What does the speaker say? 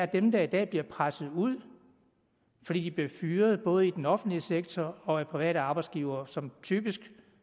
dem der i dag bliver presset ud fordi de bliver fyret både i den offentlige sektor og af private arbejdsgivere som typisk